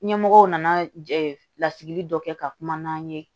Ɲɛmɔgɔw nana lasigi dɔ kɛ ka kuma n'an ye